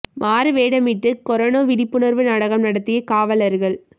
மாறு வேடமிட்டு கரோனா விழிப்புணா்வு நாடகம் நடத்திய காவலா்கள்